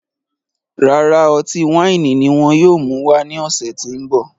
Rárá, ọtí waini ní wọn yóò mú wá ní ọsẹ ti n bọ